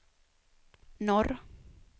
norr